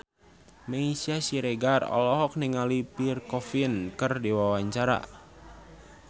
Meisya Siregar olohok ningali Pierre Coffin keur diwawancara